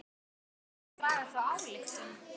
Má ekki draga þá ályktun?